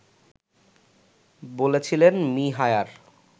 বলছিলেন মি হায়ার